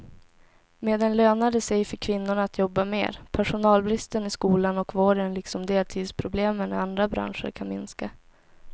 Med den lönar det sig för kvinnorna att jobba mer, personalbristen i skolan och vården liksom deltidsproblemen i andra branscher kan minska.